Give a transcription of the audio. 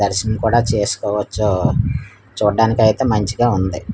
దర్శన్ కూడా చేసుకోవచ్చు చూడ్డానీకైతే మంచిగా ఉంది.